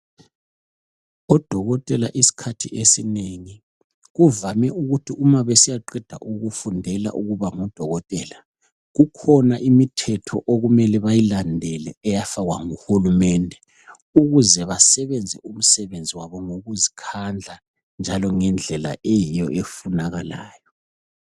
Odokotela iskhathi esinengi kuvame ukuthi uma besiyaqeda ukufundela ukuba ngodokotela. Kukhona imithetho ukumele bayilandele eyafakwa nguhurumende. Ukuze basebenze umsebenzi wabo ngokuzikadla njalo ngendlela eyiyo efunakalayo.